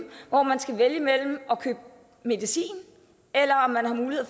hvor man skal vælge mellem at købe medicin